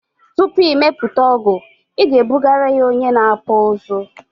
Tupu ị mepụta ọgụ ị ga ebugara ya onye na akpụ ụzụ